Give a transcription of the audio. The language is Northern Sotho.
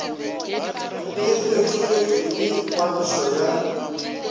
e fetoletšwe le ngwadišo ya